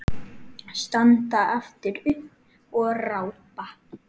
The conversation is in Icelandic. Standa aftur upp og rápa.